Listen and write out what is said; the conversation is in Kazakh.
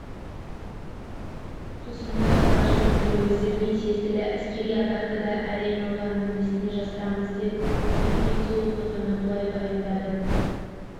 тұсында қазақ жігіттері өздеріне тиесілі әскери атақты да әрең алғанын несіне жасырамыз деп кемекең сол оқиғаны былай баяндады